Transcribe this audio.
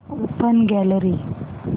open gallery